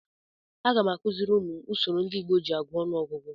Agam akuziri umum m usoro ndị Igbo ji agụ ọnụọgụgụ.